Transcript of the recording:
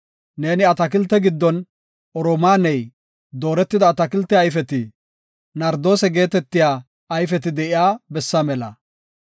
Neeni atakilte giddon, oromaaney, dooretida atakilte ayfeti, nardoose geetetiya ayfeti de7iya bessa mela.